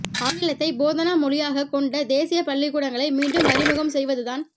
ஆங்கிலத்தை போதனா மொழியாகக் கொண்ட தேசியப் பள்ளிக்கூடங்களை மீண்டும் அறிமுகம் செய்வது தான்